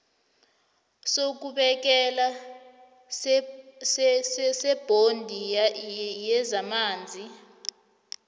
sokubekela sebhodi yezamanzi